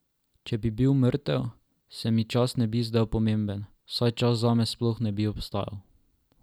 Če bi bil mrtev, se mi čas ne bi zdel pomemben, saj čas zame sploh ne bi obstajal.